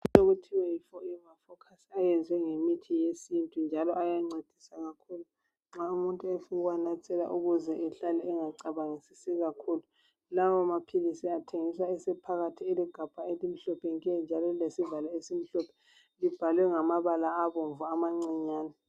Imithi le yeForever Focus. yenziwe ngemithi yesintu, njalo ayancedisa kakhulu nxa umuntu efuna ukuwanathela ukuthi angahlali ecabangisisi kakhulu. Lawamaphilisi athengiswa ephakathi kwegabha ,elimhlophe nke, njalo lilamaphilisi amhlophe. Libhalwe ngamabala abomvu amancinyane.